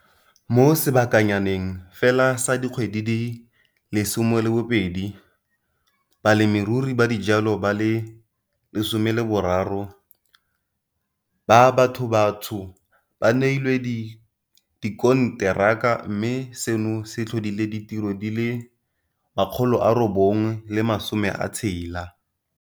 Mo seba kanyaneng fela sa dikgwedi di le 12, balemirui ba dijalo ba le 13 ba bathobatsho ba neilwe dikonteraka mme seno se tlhodile ditiro di le 960.